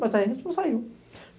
Mas aí a gente não saiu.